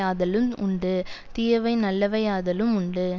ஆதலும் உண்டு தீயவை நல்லவை ஆதலும் உண்டு